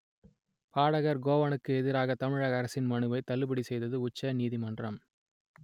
பாடகர் கோவனுக்கு எதிரான தமிழக அரசின் மனுவை தள்ளுபடி செய்தது உச்ச நீதிமன்றம்